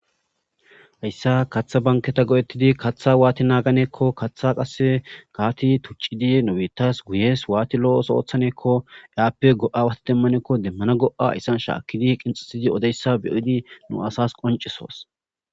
Hayssa kaththa bankketha go7eththidi kaththaa waathi naaganeykko qassi kaththi tuccidi nu biiththaa guyes waathi lo7o ooso ooththaneekko hegaaphphe go7aa demmaneeko demmana go7aa isan shaakkidi qonccissidi odeessa be7idi nu asas qonccissoos.